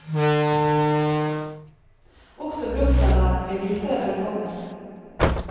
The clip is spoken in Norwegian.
Også blomsterverden vil hilse deg velkommen.